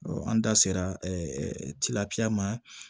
an da sera tiga ma